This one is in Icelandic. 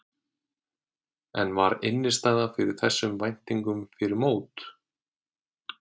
En var innistæða fyrir þessum væntingum fyrir mót?